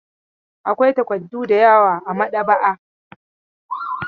Akwai takardu da yawa a maɗaba'a.